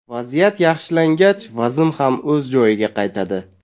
Vaziyat yaxshilangach vazn ham o‘z joyiga qaytadi.